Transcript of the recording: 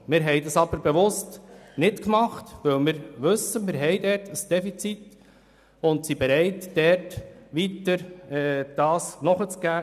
Wir haben aber bewusst darauf verzichtet, weil dort tatsächlich ein Defizit besteht und wir bereit sind, nachzugeben.